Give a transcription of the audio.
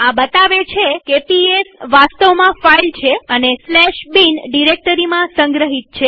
આ બતાવે છે કે પીએસ વાસ્તવમાં ફાઈલ છે અને bin ડિરેક્ટરીમાં સંગ્રહિત છે